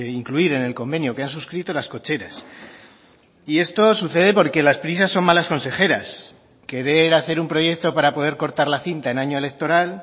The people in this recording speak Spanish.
incluir en el convenio que han suscrito las cocheras y esto sucede porque las prisas son malas consejeras querer hacer un proyecto para poder cortar la cinta en año electoral